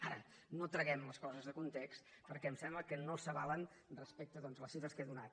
ara no traguem les coses de context perquè em sembla que no s’avalen respecte a les xifres que he donat